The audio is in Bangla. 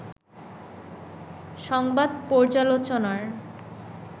'সংবাদ পর্যালোচনার